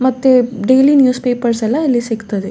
ಮತ್ತೆ daily news papers ಎಲ್ಲ ಇಲ್ಲಿ ಸಿಗ್ತದೆ.